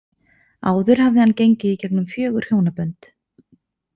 Áður hafði hann gengið í gegnum fjögur hjónabönd.